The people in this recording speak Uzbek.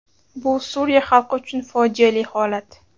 Bu Suriya xalqi uchun fojiali holat”.